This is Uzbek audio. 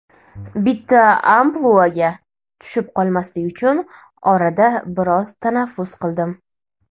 Bitta ampluaga tushib qolmaslik uchun orada biroz tanaffus qildim.